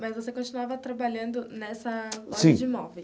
Mas você continuava trabalhando nessa loja de imóveis?